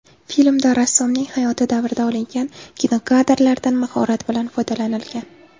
Filmda rassomning hayoti davrida olingan kinokadrlardan mahorat bilan foydalanilgan.